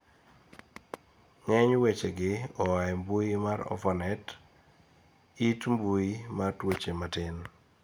ng'eny wechegi oa e mbui mar orphanet, it mbui mar tuoche matin